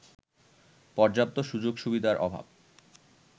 পর্যাপ্ত সুযোগ-সুবিধার অভাব